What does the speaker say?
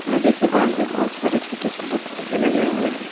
नदी के बांध पे बहुत सारे छोटे छोटे पौधे लगे हुए हैं।